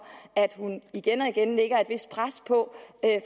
at hun igen og igen lægger et vist pres